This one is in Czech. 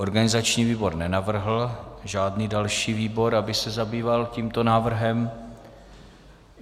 Organizační výbor nenavrhl žádný další výbor, aby se zabýval tímto návrhem.